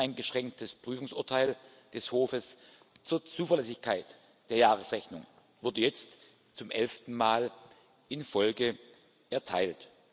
Ein uneingeschränktes Prüfungsurteil des Hofs zur Zuverlässigkeit der Jahresrechnung wurde jetzt zum elften Mal in Folge erteilt.